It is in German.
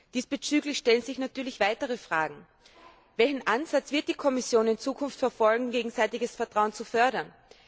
Diesbezüglich stellen sich natürlich weitere Fragen Welchen Ansatz wird die Kommission in Zukunft verfolgen, um gegenseitiges Vertrauen zu fördern?